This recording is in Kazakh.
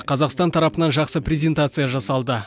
қазақстан тарапынан жақсы презентация жасалды